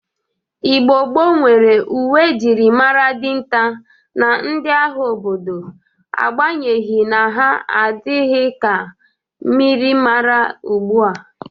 Igbo gboo nwere uwe e jiri mara dịnta na ndị agha obodo agbanyeghi na ha adịghị ka myịrịmara ogbo a.